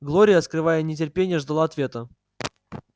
глория скрывая нетерпение ждала ответа